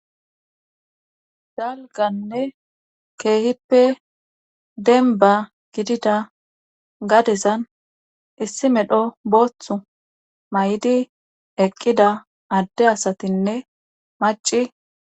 Zalganne keehippe denba gidida gadezan issi medho booththu may'di eqqida adde asatinne maci.